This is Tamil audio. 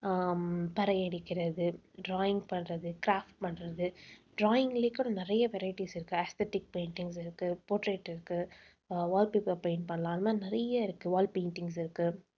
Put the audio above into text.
ஹம் பறை அடிக்கிறது drawing பண்றது craft பண்றது drawing லயே கூட நிறைய varieties இருக்கு. aesthetic paintings இருக்கு potrait இருக்கு. அஹ் wallpaper paint பண்ணலாம். அந்த மாதிரி நிறைய இருக்கு. wall paintings இருக்கு